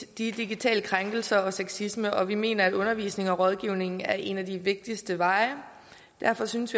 digitale krænkelser og sexisme og vi mener at undervisning og rådgivning er en af de vigtigste veje derfor synes